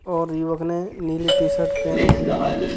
और युवक ने नीली टीशर्ट पहनी हुई हैं ।